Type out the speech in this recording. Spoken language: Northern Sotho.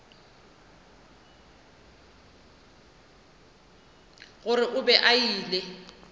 gore o be a ile